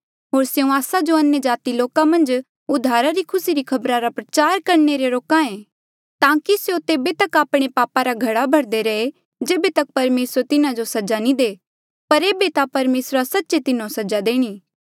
होर स्यों आस्सा जो अन्यजाति लोका मन्झ उद्धारा री खुसी री खबर प्रचार करणे ले रोक्हा ऐें ताकि स्यों तेबे तक आपणे पापा रा घड़ा भरदे रहे जेबे तक परमेसर तिन्हा जो सजा नी दे पर एेबे ता परमेसरा सच्चे तिन्हो सजा देणी